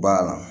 Ba la